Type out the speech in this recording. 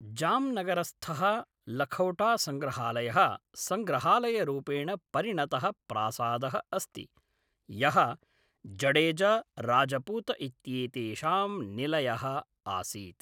जाम्नगरस्थः लखौटासंग्रहालयः संग्रहालयरूपेण परिणतः प्रासादः अस्ति, यः जडेजा राजपूत इत्येतेषां निलयः आसीत्।